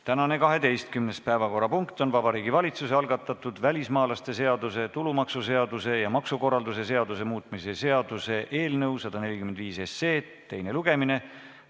Tänane 12. päevakorrapunkt on Vabariigi Valitsuse algatatud välismaalaste seaduse, tulumaksuseaduse ja maksukorralduse seaduse muutmise seaduse eelnõu 145 teine lugemine.